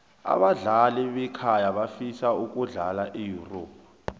abadlali bekhaya bafisa ukudlala eyurop